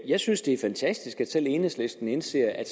jeg synes det er fantastisk at selv enhedslisten indser at